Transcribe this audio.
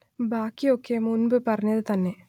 ബാക്കി ഒക്കെ മുമ്പ്പറഞ്ഞത് തന്നെ